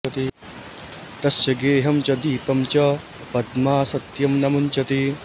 तस्य गेहं च दीपं च पद्मा सत्यं न मुञ्चति